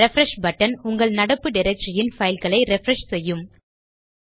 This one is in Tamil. ரிஃப்ரெஷ் பட்டன் உங்கள் நடப்பு டைரக்டரி ன் பைல் களை ரிஃப்ரெஷ் செய்யும்